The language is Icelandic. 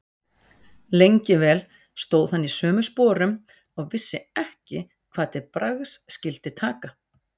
Lengi vel stóð hann í sömu sporum og vissi ekki hvað til bragðs skyldi taka.